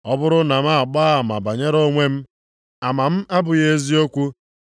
“Ọ bụrụ na m na-agba ama banyere onwe m, ama m abụghị eziokwu.